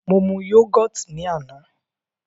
Mo mu yógọ̀tì ní àná.